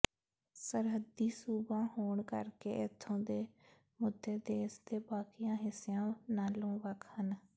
ਸਰਹੱਦੀ ਸੂਬਾ ਹੋਣ ਕਰਕੇ ਇੱਥੋਂ ਦੇ ਮੁੱਦੇ ਦੇਸ ਦੇ ਬਾਕੀਆਂ ਹਿੱਸਿਆਂ ਨਾਲੋਂ ਵੱਖ ਹਨ